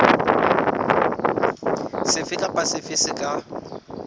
sefe kapa sefe se ka